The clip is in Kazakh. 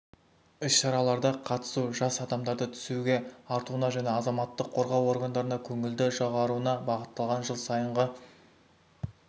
іс-шараларда қатысу жас адамдарды түсүге тартуына және азаматтық қорғау органдарына көңілді жоғаруына бағытталған жыл сайынғы